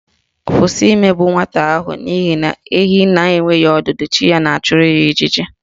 Kwụsị imegbu nwata ahụ n'ihi na ehi na-enweghị ọdụ chi ya na-achụrụ ya ijiji